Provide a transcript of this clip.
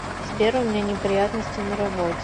сбер у меня неприятности на работе